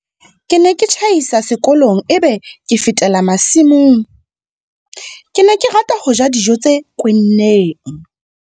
Ke ne ke tjhaisa sekolong e be ke fetela masimong. Ke ne ke rata ho ja dijo tse kwenneng.